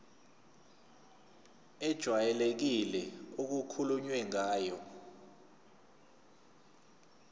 ejwayelekile okukhulunywe ngayo